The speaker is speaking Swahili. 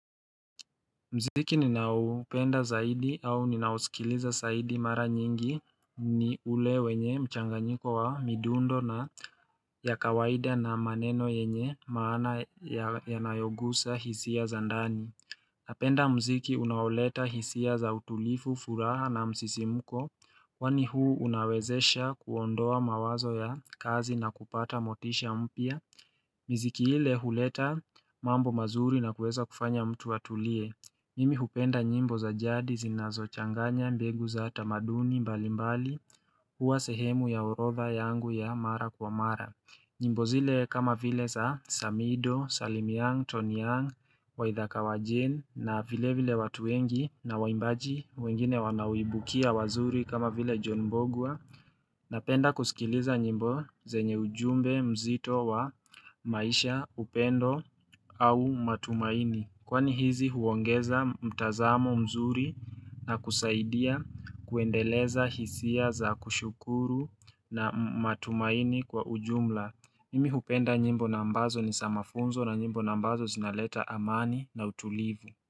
Mziki ninaoupenda zaidi au ninausikiliza zaidi mara nyingi ni ule wenye mchanganyiko wa midundo na ya kawaida na maneno yenye maana ya nayogusa hisia za ndani. Napenda mziki unaoleta hisia za utulivu, furaha na msisimuko. Yani huu unawezesha kuondoa mawazo ya kazi na kupata motisha mpya. Mziki ile uleta mambo mazuri na kuweza kufanya mtu atulie. Mimi hupenda nyimbo za jadi zinazo changanya mbegu za tamaduni mbali mbali hua sehemu ya orodha yangu ya mara kwa mara. Nyimbo zile kama vile za Samido, Salim Young, Tony Young, waithaka wajane na vile vile watu wengi na waimbaji wengine wanaimbukia wazuri kama vile John mbugua. Napenda kusikiliza nyimbo zenye ujumbe mzito wa maisha upendo au matumaini. Kwani hizi huongeza mtazamo mzuri na kusaidia kuendeleza hisia za kushukuru na matumaini kwa ujumla Mimi hupenda nyimbo na ambazo ni za mafunzo na nyimbo na ambazo zinaleta amani na utulivu.